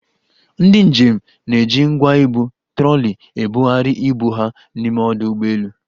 Ndị njem na-eji ngwa ibu (troli) ebugharị ibu ha n'ime ọdụ ụgbọelu.